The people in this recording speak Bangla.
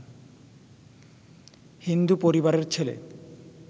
হিন্দু পরিবারের ছেলে